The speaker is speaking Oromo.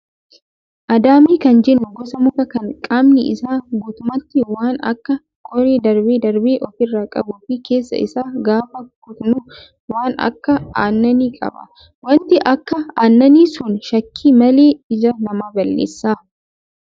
Adaamii kan jennu gosa mukaa kan qaamni isaa guutummaatti waan Akka qoree darbee darbee ofirraa qabuu fi keessa isaa gaafa kutnu waan Akka aannanii qaba. Wanti akka aannanii sun shakkii malee ija nama balleessa.